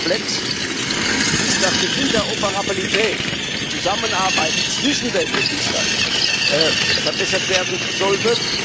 Der zweite Komplex ist, dass die Interoperabilität die Zusammenarbeit zwischen den Registern verbessert werden sollte.